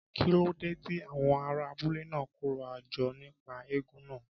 Kí ló dé tí àwọn ará abúlé náà kóra jọ nípa eégún náà?